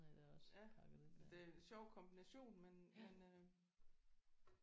Ja det er en sjov kombination men men øh